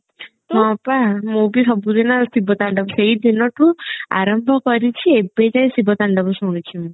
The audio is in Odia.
ମୁଁ ବି ସବୁଦିନ ଶିବ ତାଣ୍ଡବ ସେଇ ଦିନ ଠୁ ଆରମ୍ଭ କରିଛି ଏବେ ଯାଏ ଶିବ ତାଣ୍ଡବ ଶୁଣୁଛି ମୁଁ